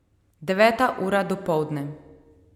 Deveta ura dopoldne.